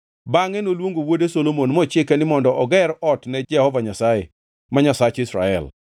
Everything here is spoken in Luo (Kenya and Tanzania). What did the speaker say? Bangʼe noluongo wuode Solomon mochike ni mondo oger ot ne Jehova Nyasaye, ma Nyasach Israel.